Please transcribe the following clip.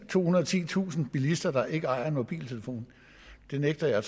tohundrede og titusind bilister der ikke ejer en mobiltelefon det nægter jeg at